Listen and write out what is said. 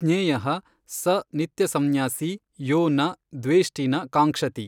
ಜ್ಞೇಯಃ ಸ ನಿತ್ಯಸಂನ್ಯಾಸೀ ಯೋ ನ ದ್ವೇಷ್ಟಿ ನ ಕಾಂಕ್ಷತಿ।